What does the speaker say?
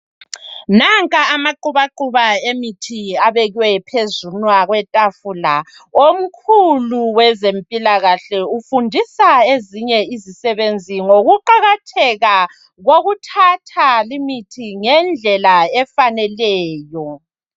Nanka amaqubaquba emithi abekwe phezunwa kwetafula ,omkhulu wezempila kahle ufundisa ezinye izisebenzi ngokuqakatheka kokuthatha limithi ngendlela efaneleyo.